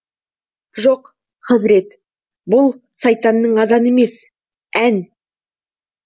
жоқ хазірет бұл сайтанның азаны емес ән